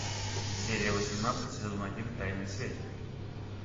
серия восемнадцать сезон один тайные связи